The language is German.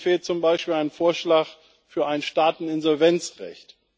Mir fehlt zum Beispiel ein Vorschlag für ein Staateninsolvenzrecht.